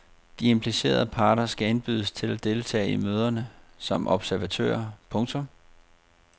De implicerede parter skal indbydes til at deltage i møderne som observatører. punktum